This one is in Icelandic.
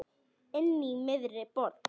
Inní miðri borg.